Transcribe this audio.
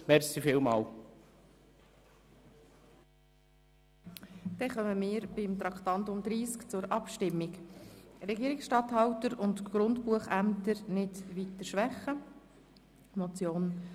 Wir kommen zur Abstimmung über die Motion von Grossrat Knutti, «Regierungsstatthalter und Grundbuchämter nicht weiter schwächen».